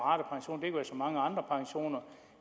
så mange andre pensioner